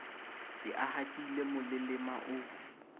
se a hatile molelema o